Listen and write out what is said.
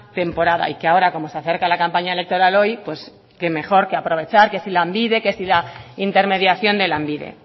temporada y que ahora como se acerca la campaña electoral hoy pues qué mejor que aprovechar que si lanbide que si la intermediación de lanbide